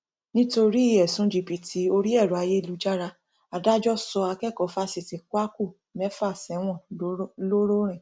nítorí ẹsùn jìbìtì orí ẹrọ ayélujára adájọ sọ akẹkọọ fáṣítì kwakù mẹfà sẹwọn ńlọrọrìn